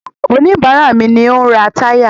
Oníbàárà mi ni ó ń ra táyà.